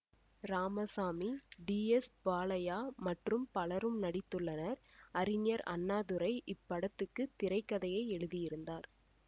Ramasamy T S Balaiah மற்றும் பலரும் நடித்துள்ளனர் அறிஞர் அண்ணாதுரை இப்படத்துக்கு திரை கதையை எழுதியிருந்தார்